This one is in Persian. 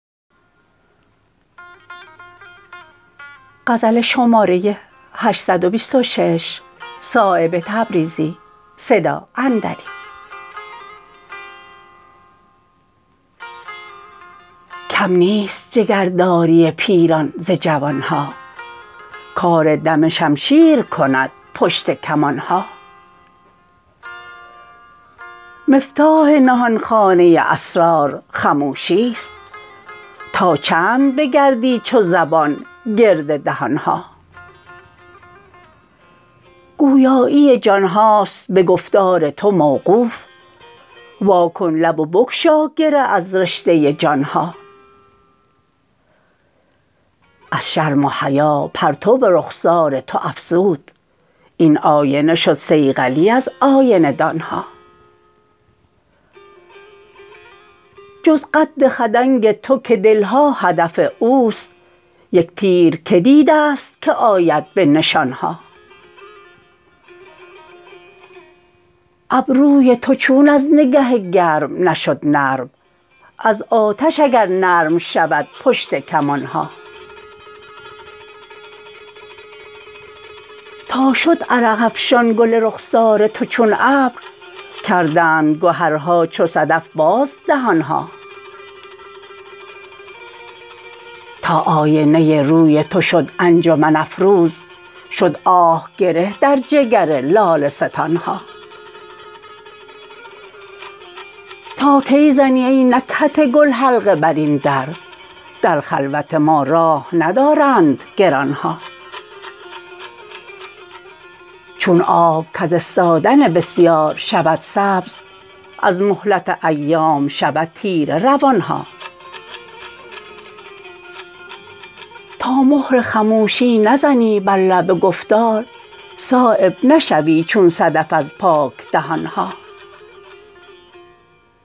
کم نیست جگرداری پیران ز جوان ها کار دم شمشیر کند پشت کمان ها مفتاح نهانخانه اسرار خموشی است تا چند بگردی چو زبان گرد دهان ها گویایی جان هاست به گفتار تو موقوف واکن لب و بگشا گره از رشته جان ها از شرم و حیا پرتو رخسار تو افزود این آینه شد صیقلی از آینه دان ها جز قد خدنگ تو که دل ها هدف اوست یک تیر که دیده است که آید به نشان ها ابروی تو چون از نگه گرم نشد نرم از آتش اگر نرم شود پشت کمان ها تا شد عرق افشان گل رخسار تو چون ابر کردند گهرها چو صدف باز دهان ها تا آینه روی تو شد انجمن افروز شد آه گره در جگر لاله ستان ها تا کی زنی ای نکهت گل حلقه بر این در در خلوت ما راه ندارند گران ها چون آب کز استادن بسیار شود سبز از مهلت ایام شود تیره روان ها تا مهر خموشی نزنی بر لب گفتار صایب نشوی چون صدف از پاک دهان ها